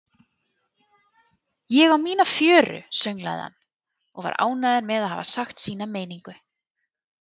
Ég á mína fjöru, sönglaði hann og var ánægður með að hafa sagt sína meiningu.